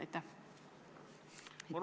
Aitäh!